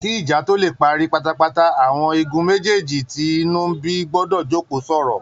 Kí ìjà tó lè parí pátápátá, àwọn igun méjèjèjì tí inú ń bí gbọdọ̀ jókòó sọ̀rọ̀